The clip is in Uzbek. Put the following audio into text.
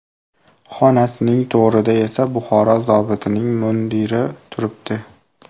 Xonasining to‘rida esa Buxoro zobitining mundiri turibdi.